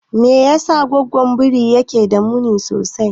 Me yasa goggon biri yake da muni sosai?